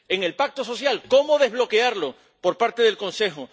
En el pacto social cómo desbloquearlo por parte del Consejo.